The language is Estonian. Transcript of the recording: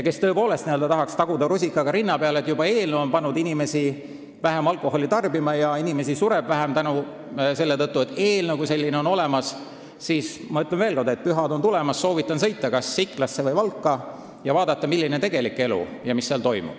Kui keegi tahab taguda rusikaga rinna peale, et eelnõu on juba pannud inimesi vähem alkoholi tarbima ja inimesi sureb vähem juba selle tõttu, et eelnõu kui selline on olemas, siis ma ütlen veel kord: pühad on tulemas, ma soovitan sõita kas Iklasse või Valka ja vaadata, mis seal toimub ja milline on tegelik elu.